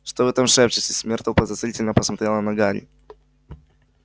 что вы там шепчетесь миртл подозрительно посмотрела на гарри